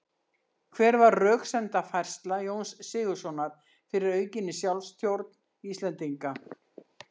Hver var röksemdafærsla Jóns Sigurðssonar fyrir aukinni sjálfstjórn Íslendinga?